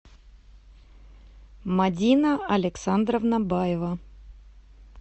мадина александровна баева